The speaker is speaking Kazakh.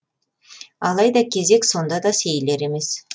алайда кезек сонда да сейілер емес